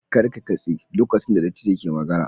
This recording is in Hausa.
Kar ka katse lokacin da dattijo ke magana